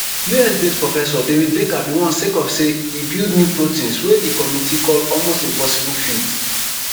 us based professor david baker bin win sake of say e build new proteins wey di committee call almost impossible feat